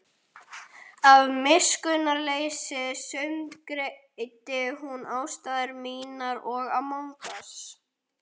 Af miskunnarleysi sundurgreindi hún ástæður mínar og gjörðir.